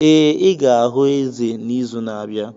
Ee, ị ga-ahụ eze n'izu na-abịa